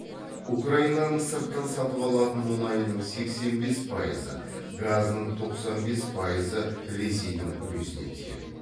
украинаның сырттан сатып алатын мүнайының сексен бес пайызы газының тоқсан бес пайызы ресейдің үлесіне тиеді